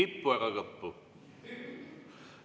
Ei kippu ega kõppu.